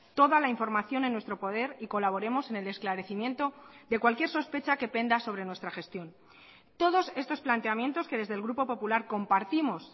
toda la información en nuestro poder y colaboremos en el esclarecimiento de cualquier sospecha que penda sobre nuestra gestión todos estos planteamientos que desde el grupo popular compartimos